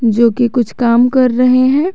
जो कि कुछ काम कर रहे हैं।